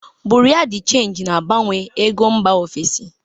Bureau de change na-agbanwe ego mba ofesi.